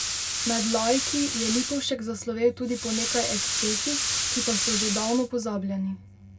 Med laiki je Lipovšek zaslovel tudi po nekaj ekscesih, ki pa so že davno pozabljeni.